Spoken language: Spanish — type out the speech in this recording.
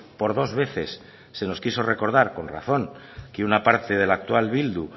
por dos veces se nos quiso recordar con razón que una parte de la actual bildu